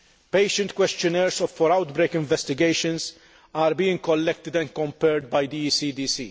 Patient questionnaires for outbreak investigations are being collected and compared by the ECDC.